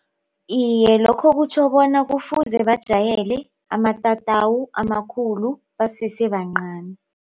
Iyel, lokho kutjho bona kufuze bajayele amatatawu amakhulu basesebancani.